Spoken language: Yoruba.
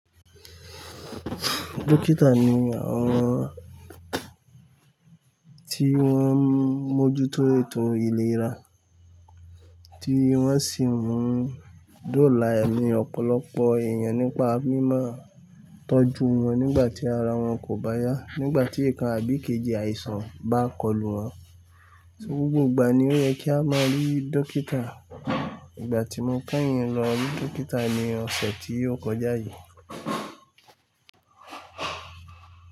Dókítà ni àwọn tí wọ́n ń mójútó ètò ìlera, tí wọ́n sì ń mú dóòlà ní ọ̀pọ̀lọpọ̀ èèyàn nípa mímáa tọ́jú wọn nígbà tí ara wọn kò bá yá, nígbà tí ikan àbí ikejì àìsàn bá kọlù wọn. Gbogbo ìgbà ni ó yẹ kí a máa rí dókítà. Ìgbà tí mo kẹyìn lọ rí dókítà ni ọ̀sẹ̀ tí ó kọjá yìí.